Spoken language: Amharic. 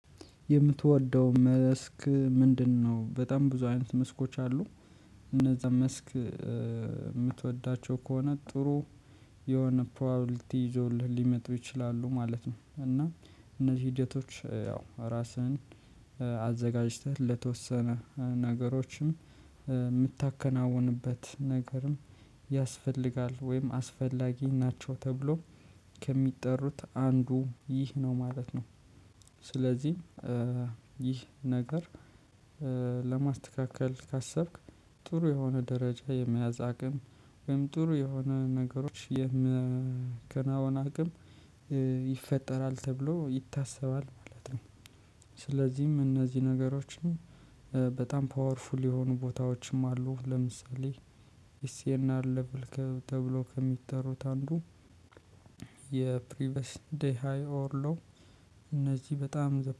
የምትወደው መስክ ምንድነው? በጣም ብዙ አይነት መስኮች አሉ እነዛ መስክ የምትወዳቸው ከሆነ ጥሩ የሆነ ፕሮባብሊቲ ይዞልህ ሊመጡ ይችላሉ ማለት ነው። እና እነዚህ ሂደቶች ያው ራስህን አዘጋጅተህ ለተወሰነ ነገሮችም የምታከናውንበት ነገርም ያስፈልጋል ወይም አስፈላጊ ናቸው ተብሎ ከሚጠሩት አንዱ ይህ ነው ማለት ነው። ስለዚህ ይህ ነገር ለማስተካከል ካሰብክ ጥሩ የሆነ ደረጃ የመያዝ አቅም ወይም ጥሩ የሆነ ነገሮች የመከናወን አቅም ይፈጠራል ተብሎ ይታሰባል ማለት ነው። ስለዚህም እነዚህ ነገሮችን በጣም ፓወርፉል የሆኑ ቦታዎችም አሉ ለምሳሌ እስኤን አፕልከብል ተብሎ ከሚጠሩት አንዱ። የፕሪቨስ ዴይ ሃይ ኦር ሎው እነዚህ በጣም